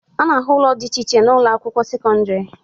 A na-ahụ ụlọ dị iche iche na ụlọakwụkwọ sekọndịrị